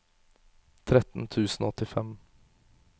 tretten tusen og åttifem